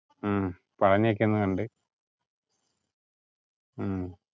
ഉം ഉം പളനി ഒക്കെ ഒന്ന് കണ്ടു